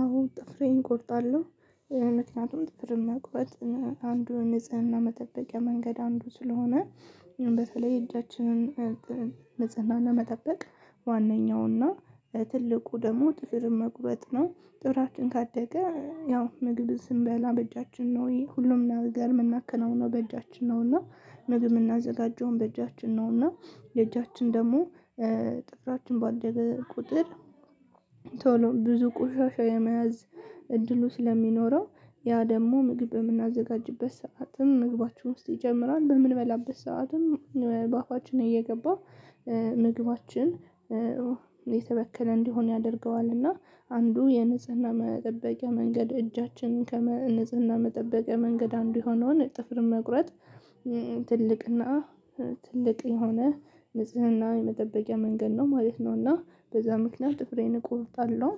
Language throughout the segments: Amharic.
አዎ ጥፍሬን እቆርጣለሁ። ምክንያቱም ጥፍርን መቁረጥ አንዱን ንጽህና መጠበቂያ መንገድ አንዱ ስለሆነ በተለይ እጃችንን ንጽህና ለመጠበቅ ዋነኛው እና ትልቁ ደግሞ ጥፍርን መቁረጥ ነው ጥፍራችን ካደገ ያው ምግብ ስንበላ በእጃችን ነው ይሄ ሁሉም ነገር የምናከናውነው በእጃችን ነው እና ምግብ የምናዘጋጀውም በእጃችን ነው እና የእጃችን ደግሞ ጥፍራችን ባደገ ቁጥር። ቶሎ ብዙ ቁሻሻ የመያዝ እድሉ ስለሚኖረው ያ ደግሞ ምግብ የምናዘጋጅበት ሰዓትም ምግባችን ውስጥ ይጀምራል በምንበላበት ሰዓትም በአፋችን እየገባ ምግባችን የተበከለ እንዲሆን ያደርገዋል። እና አንዱ የንጽህና መጠበቂያ መንገድ እጃችንን ከ ንጽህና መጠበቅ መንገድ አንዱ የሆነውን ጥፍር መቁረጥ ትልቅና ትልቅ የሆነ ንጽህና የመጠበቂያ መንገድ ነው ማለት ነው እና በዛ ምክንያት ጥፍሬን እቆርጣለሁ።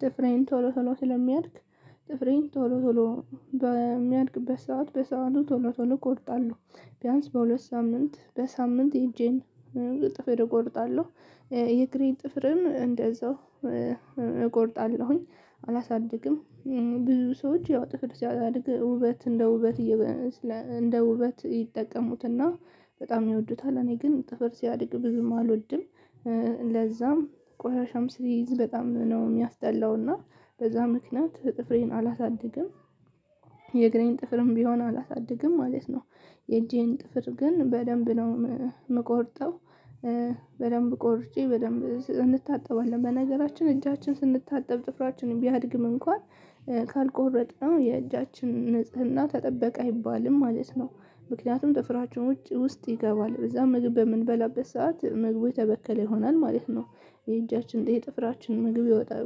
ጥፍሬን ቶሎ ቶሎ ስለሚያድግ ጥፍሬን ቶሎ ቶሎ በሚያድግበት ሰዓት በሰአቱ ቶሎ ቶሎ እቆርጣለሁ። ቢያንስ በሁለት ሳምንት በሳምንት የእጄን ጥፍር እቆርጣለሁ። የእግሬን ጥፍርም እንደዛው እቆርጣለሁኝ አላሳድግም። ብዙ ሰዎች ያው ጥፍር ሲያድግ ውበት እንደ ውበት እንደ ውበት ይጠቀሙትና በጣም ይወዱታል እኔ ግን ጥፍር ሲያድግ ብዙም አልወድም። ለዛም ቆሻሻም ሲይዝ በጣም ነው የሚያስጠላው እና በዛ ምክንያት ጥፍሬን አላሳድግም። የእግሬን ጥፍርም ቢሆን አላሳድግም ማለት ነው። የእጄን ጥፍር ግን በደንብ ነው የምቆርጠው። በደንብ ቆርጬ በደንብ እንታጠባለን በነገራችን እጃችን ስንታጠብ ጥፍራችንን ቢያድግም እንኳን ካልቆረጥነው የእጃችን ንጽህና ተጠበቅ አይባልም ማለት ነው። ምክንያቱም ጥፍራችን ውስጥ ይገባል በዛ ምግብ በምንበላበት ሰዓት ምግቡ የተበከለ ይሆናል ማለት ነው። የእጃችን የጥፍራችን ምግብ ይወጣል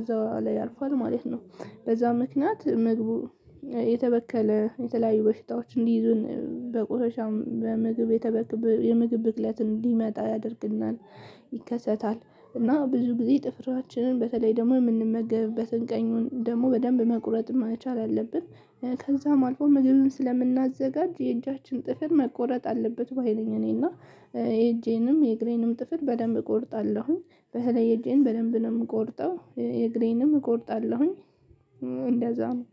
እዛው ላይ ያርፋል ማለት ነው። በዛ ምክንያት ምግቡ የተበከለ የተለያዩ በሽታዎች እንዲይዙን በቁሻሻም በምግብ የተበክው የምግብ ብክለትን እንዲመጣ ያደርግናል። ይከሰታል እና ብዙ ጊዜ ጥፍራችንን በተለይ ደግሞ የምንመገብበትን ቀኙን ደግሞ በደንብ መቁረጥም መቻል አለብን። ከዛም አልፎ ምግብን ስለምናዘጋጅ የእጃችን ጥፍር መቆረጥ አለበት ባይ ነኝ። እኔና የእጄንም የእግሬንም ጥፍር በደንብ እቆርጣለሁ በተለይ የእጄን በደንብ ነው የምቆርጠው የእግሬንም እቆርጣለሁኝ። እንደዛ ነው።